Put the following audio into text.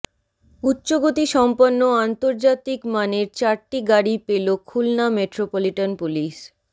উচ্চগতি সম্পন্ন আন্তর্জাতিকমানের চারটি গাড়ি পেল খুলনা মেট্রোপলিটন পুলিশ